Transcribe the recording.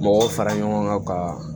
Mɔgɔw fara ɲɔgɔn kan ka